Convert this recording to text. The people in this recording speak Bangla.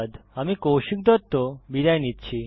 আমি কৌশিক দত্ত বিদায় নিচ্ছি